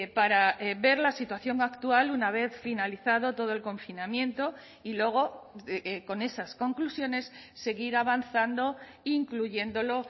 para ver la situación actual una vez finalizado todo el confinamiento y luego con esas conclusiones seguir avanzando incluyéndolo